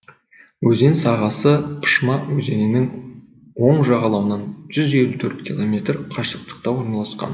өзен сағасы пышма өзенінің оң жағалауынан жүз елу төрт километр қашықтықта орналасқан